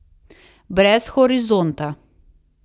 Brez horizonta.